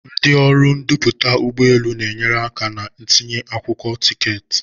Ndị ọrụ ndoputa ụgbọ elu na-enyere aka na ntinye akwụkwọ tiketi.